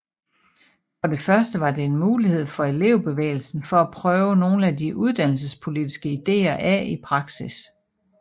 For det første var det en mulighed for elevbevægelsen for at prøve nogle af de uddannelsespolitiske ideer af i praksis